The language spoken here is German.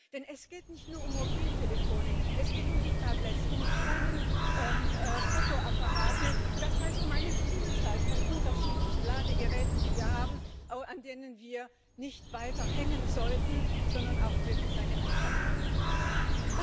Denn es geht nicht nur um Mobiltelefone, es geht um die Tablets, um die kleinen Fotoapparate, das heißt, um eine Vielzahl von unterschiedlichen Ladegeräten, die wir haben, aber an denen wir nicht weiter hängen sollten, sondern bei denen wir auch wirklich eine Einheitlichkeit haben sollten.